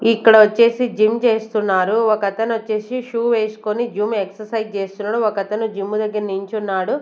ఇక్కడ వచ్చేసి జిమ్ చేస్తున్నారు ఒక అతను వచ్చేసి షూ వేసుకొని జిమ్ ఎక్ససైజ్ చేస్తున్నడు ఒకతను జిమ్ దగ్గర నించున్నాడు.